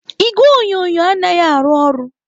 Igwe onyonyo anaghị arụ ọrụ.